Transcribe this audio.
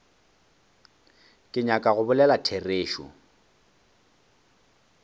ke nyaka go bolela therešo